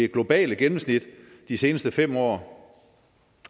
globale gennemsnit de seneste fem år